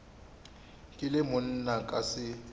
ke le monna ka se